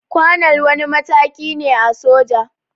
Kwanal wani mataki ne a soja